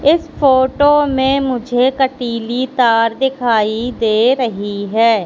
इस फोटो में मुझे कटीली तार दिखाई दे रही है।